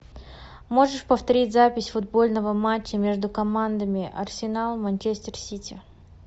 можешь повторить запись футбольного матча между командами арсенал манчестер сити